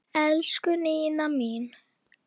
Elsku Nína mín.